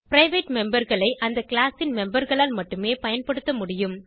private memberகளை அந்த class ன் memberகளால் மட்டுமே பயன்படுத்த முடியும்